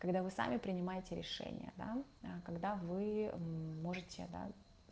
когда вы сами принимаете решение да когда вы мм можете да